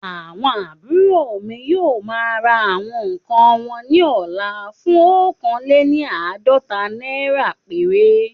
Àwọn àbúrò mi yóò ma ra àwọn nkàn won ní ọ̀la fún oókan léni àádọ́ta naira péré